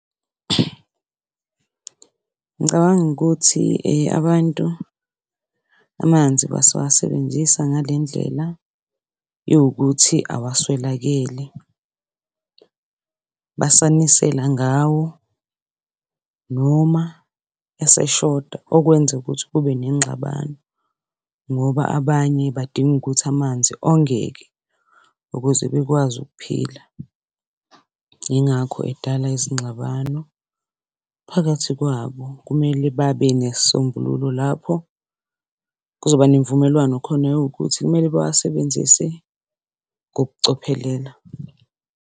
Ngicabanga ukuthi abantu amanzi basawasebenzisa ngale ndlela yowukuthi awaswelakele. Basanisela ngawo noma eseshoda, okwenzukuthi kube nengxabano ngoba abanye badinga ukuthi amanzi ongeke ukuze bekwazi ukuphila. Yingakho edala izingxabano phakathi kwabo. Kumele babe nesisombululo lapho kuzoba nemvumelwano khona yowukuthi kumele bawasebenzise ngokucophelela.